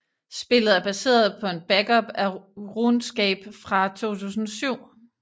Spillet er baseret på en backup af RuneScape fra 2007